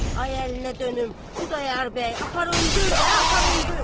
Ay əllərinə dönüm Xudayar bəy, apar öldür də, apar öldür!